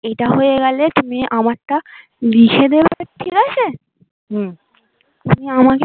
এটা হয়ে গেলে তুমি আমারটা লিখে দেবে ঠিক আছে হম তুমি আমাকে